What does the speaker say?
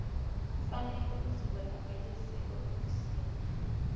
kufanele uzibonakalise eofisini